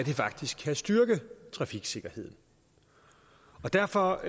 faktisk kan styrke trafiksikkerheden derfor